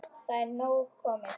Það er nóg komið.